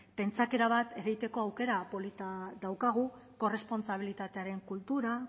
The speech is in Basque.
pentsaera bat ereiteko aukera polita daukagu korrespontsabilitatearen kultura